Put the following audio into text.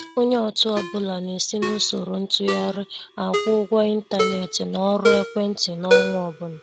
Onye ọtụ ọbụla na-esi n'usoro ntụgharị akwụ-ụgwọ intánẹ̀tị na ọrụ ekwéntị n'ọnwa ọbụla.